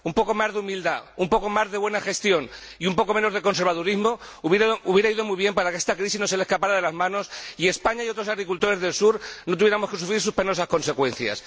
Un poco más de humildad, un poco más de buena gestión y un poco menos de conservadurismo habrían ido muy bien para que esta crisis no se le escapara de las manos y España y otros agricultores del sur no tuviéramos que sufrir sus penosas consecuencias.